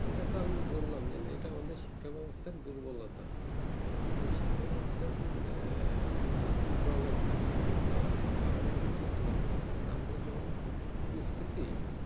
এটা তো আমি বললাম যে এটা আমাদের শিক্ষা ব্যাবস্থার দুর্বলতা আমাদের শিক্ষা ব্যাবস্থার যে ভিন্ন রকম দ্রোগাইতাছে সেগুলো আমরা তো দূর করতে পারবো না আমার যখন বুজতেছি